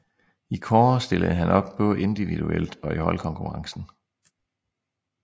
I kårde stillede han op både individuelt og i holdkonkurrencen